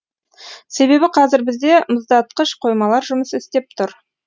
себебі қазір бізде мұздатқыш қоймалар жұмыс істеп тұр